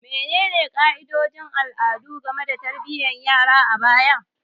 Menene ka'idodin al'adu game da tarbiyyar yara a baya?